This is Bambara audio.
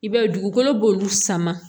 I b'a ye dugukolo b'olu sama